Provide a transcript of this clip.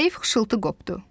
Zəif xışıltı qopdu.